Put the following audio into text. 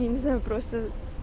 я не знаю просто